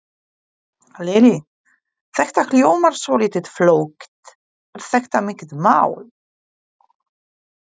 Lillý: Þetta hljómar svolítið flókið, er þetta mikið mál?